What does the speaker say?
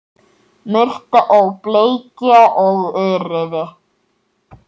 Murta og bleikja og urriði